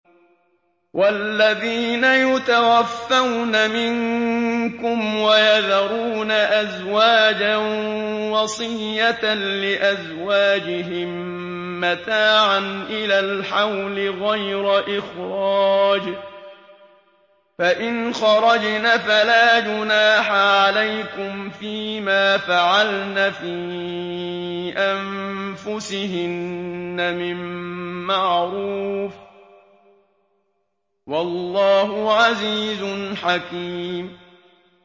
وَالَّذِينَ يُتَوَفَّوْنَ مِنكُمْ وَيَذَرُونَ أَزْوَاجًا وَصِيَّةً لِّأَزْوَاجِهِم مَّتَاعًا إِلَى الْحَوْلِ غَيْرَ إِخْرَاجٍ ۚ فَإِنْ خَرَجْنَ فَلَا جُنَاحَ عَلَيْكُمْ فِي مَا فَعَلْنَ فِي أَنفُسِهِنَّ مِن مَّعْرُوفٍ ۗ وَاللَّهُ عَزِيزٌ حَكِيمٌ